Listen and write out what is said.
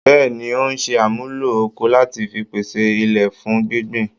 Bẹ́ẹ̀ni, ń ò ṣe àmúlò ọkọ́ lati fi pese ilẹ̀ fún gbíngbìn